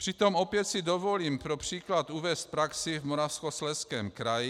Přitom opět si dovolím pro příklad uvést praxi v Moravskoslezském kraji.